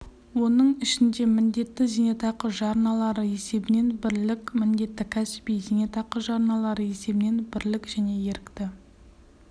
оның ішінде міндетті зейнетақы жарналары есебінен бірлік міндетті кәсіби зейнетақы жарналары есебінен бірлік және ерікті